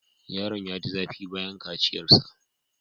Yaron ya ji zafi bayan kaciyarsa.